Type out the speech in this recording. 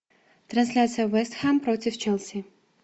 трансляция вест хэм против челси